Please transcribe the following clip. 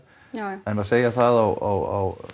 jájá en að segja það á